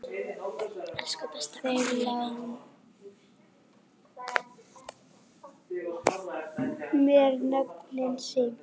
Þeir lánuðu mér nöfnin sín.